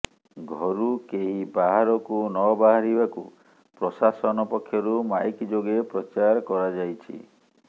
ଘରୁ କେହି ବାହାରକୁ ନ ବାହାରିବାକୁ ପ୍ରଶାସନ ପକ୍ଷରୁ ମାଇକ ଯୋଗେ ପ୍ରଚାର କରାଯାଇଛି